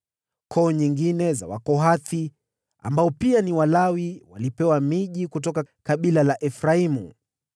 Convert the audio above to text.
Koo nyingine za Wakohathi, ambao pia ni Walawi, walipewa miji kutoka kabila la Efraimu: